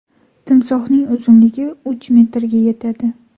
Timsohning uzunligi uch metrga yetadi.